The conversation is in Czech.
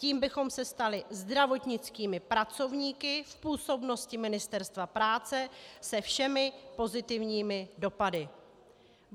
Tím bychom se stali zdravotnickými pracovníky v působnosti Ministerstva práce se všemi pozitivními dopady.